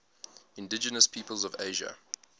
indigenous peoples of asia